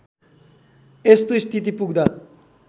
यस्तो स्थिति पुग्दा